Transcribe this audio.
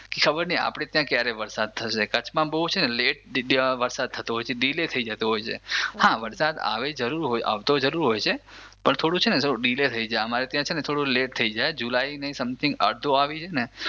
ખબર નઈ આપણે ત્યાં ક્યારે વરસાદ થશે કચ્છમાં બઉ છે ને લેટ વરસાદ થતો હોય છે ડીલેય થઇ જતો હોય છે હા વરસાદ આવતો જરૂર હોય છે પણ થોડું છે ને ડીલેય થઇ જાય અમારે ત્યાં છે ને થોડું લેટ થઇ જાય જુલાઈની સમથિંગ અડધો આવી જાય ને